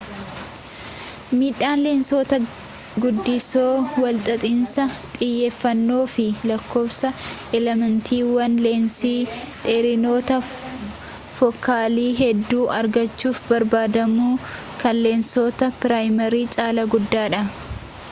miidhaan leensota guddisoo walxaxiinsa xiyyeefannoo fi lakkoofsi elementiiwwan leensii dheerinoota fookaalii hedduu argachuuf barbaadamuu kan leensoota piraayimii caalaa guddaadha